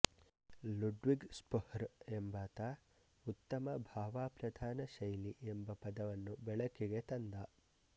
Ludwig Spohr ಎಂಬಾತ ಉತ್ತಮ ಭಾವಪ್ರಧಾನ ಶೈಲಿ ಎಂಬ ಪದವನ್ನು ಬಳಕೆಗೆ ತಂದ